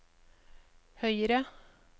høyre